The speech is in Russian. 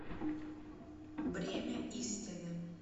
бремя истины